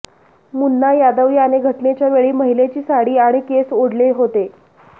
मुन्ना यादव याने घटनेच्या वेळी महिलेची साडी आणि केस ओढले होते